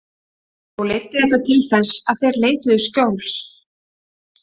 Þó leiddi þetta til þess að þeir leituðu skjóls.